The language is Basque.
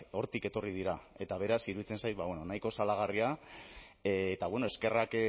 hortik etorri dira eta beraz iruditzen zait nahiko salagarria eta eskerrak